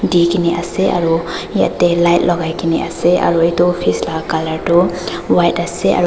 dikae na ase aro yatae light lakai kena ase aro edu office la colour tu white ase--